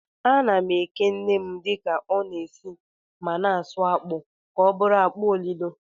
Ana m eke nnem dịka ọ na-esi ma na-asụ akpụ ka ọ bụrụ akpụ olilo.